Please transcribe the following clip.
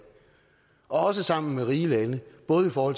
og også sammen med rige lande både for